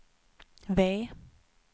V